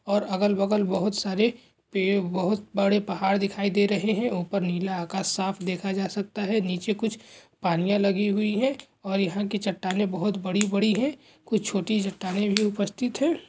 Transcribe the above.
और अगल बगल बहुत सारे पेड़ बहुत बड़े पहाड़ दिखेती दे रहे है ऊपर नीला आकाश साफ देखा जा सकता है नीचे कुछ पाणियाँ लगी हुई है और यहाँ की चट्टानें बहुत बड़ी बड़ी है कुछ चोटी चट्टानें भी उपस्थित है ।